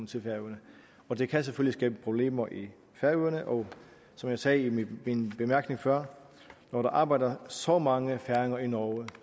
til færøerne og det kan selvfølgelig skabe problemer i færøerne og som jeg sagde i min min bemærkning før når der arbejder så mange færinger i norge